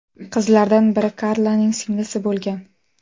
Qizlardan biri Karlaning singlisi bo‘lgan.